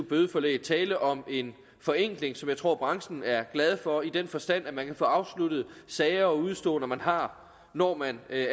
bødeforlæg tale om en forenkling som jeg tror branchen er glad for i den forstand at man kan få afsluttet sager og udeståender man har når man af